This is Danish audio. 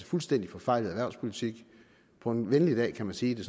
fuldstændig forfejlet erhvervspolitik på en venlig dag kan man sige at det